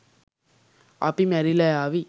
අපි මැරිලා යාවී